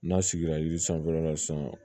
N'a sigira yiri sanfɛla la sisan